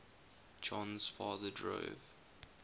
jon's father drove